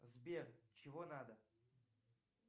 сбер чего надо